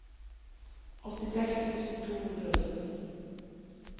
åttiseks tusen to hundre og sytten